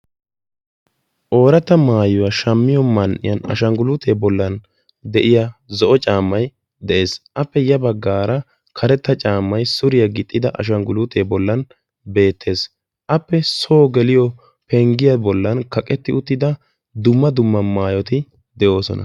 ooratta maayuwaa shammiyo man''iyan ashangguluutee bollan de'iya zo'o caammay de'ees appe ya baggaara karetta caammay suriyaa gixxida ashangguluutee bollan beettees appe soo geliyo penggiyaa bollan kaqetti uttida dumma dumma maayoti de'oosona